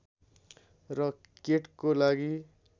र केटको लागि